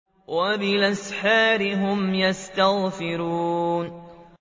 وَبِالْأَسْحَارِ هُمْ يَسْتَغْفِرُونَ